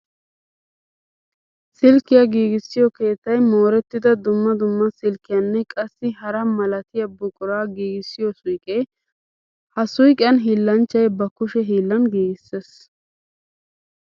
Silkkiya giigissiyo keettay mooretidda dumma dumma silkkiyanne qassikka hara malattiya buqura giigissiyo suyqqe. Ha suyqqiyan hiillanchchay ba kushe hiillan giigisees.